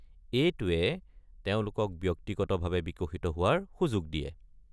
এইটোৱে তেওঁলোকক ব্যক্তিগতভাৱে বিকশিত হোৱাৰ সুযোগ দিয়ে।